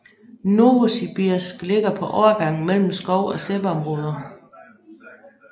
Novosibirsk ligger på overgangen mellem mellem skov og steppeområder